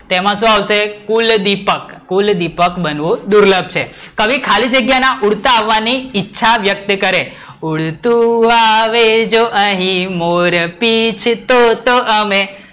તેમાં શું આવશે કુલ દીપક, કુલ દીપક બનવું દૂર્લભ છે કવિ ખાલી જગ્યા ના ઉડતાની આવવાની ઈચ્છા વ્યકત કરે ઉડતું આવે જો અહીં મોર પીછ તો તો અમે